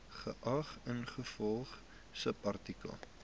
geag ingevolge subartikel